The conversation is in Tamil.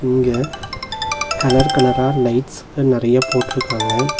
இங்க கலர் கலர்ரா லைட்ஸ்க நெறையா போட்ருகாங்க.